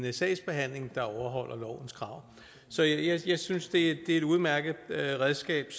en sagsbehandling der overholder lovens krav så jeg synes det er et udmærket redskab